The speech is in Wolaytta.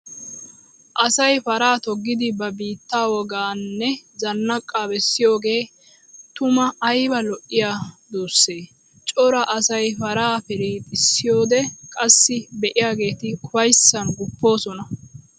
Asay paraa toggiddi ba biitta woganne zanaaqa bessiyooge tumaa aybba lo'iya duusse! Cora asay paraa pirixxissiyoode qassi be'iyaagetti ufayssan gupposonna.